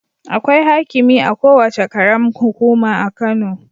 Akwai haikimi a kowace ƙaram hukuma a Kano